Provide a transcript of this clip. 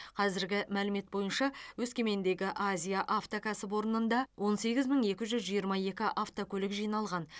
қазіргі мәлімет бойынша өскемендегі азия авто кәсіпорнында он сегіз мың екі жүз жиырма екі автокөлік жиналған